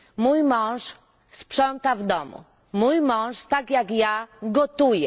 Mój mąż sprząta w domu, mój mąż, tak jak ja, gotuje.